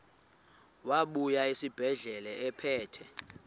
wabuya esibedlela ephethe